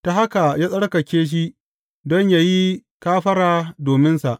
Ta haka ya tsarkake shi don yă yi kafara dominsa.